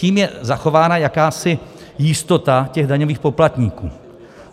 Tím je zachována jakási jistota těch daňových poplatníků.